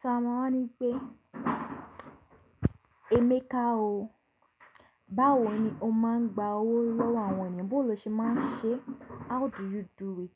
So a máa wa ni pé Emeka o, báwo ni o máa ń gba owó lọ́wọ́ àwọn ènìyàn? Boo lo ṣé máa ń ṣe? How do you do it?